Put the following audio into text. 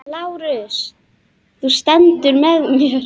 LÁRUS: Þú stendur með mér.